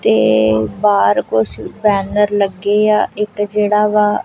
ਤੇ ਬਾਹਰ ਕੁਛ ਬੈਨਰ ਲੱਗੇਆ ਇੱਕ ਜੇਹੜਾ ਵਾ--